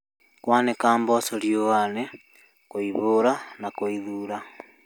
kwanĩka mboco riũanĩ, gũcihuha na gũcithura